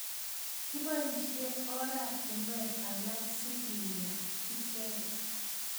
Kiboishe oratunwek alak sikinya icheket.